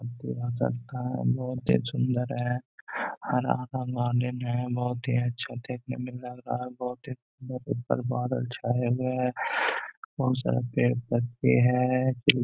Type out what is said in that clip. बहुत ही सुन्दर हैं हरा बहुत ही अच्छा देखने में लग रहा हैं बहुत ही बादल छाए हुए हैं बहुत सारा पेड़ पत्ते हैं।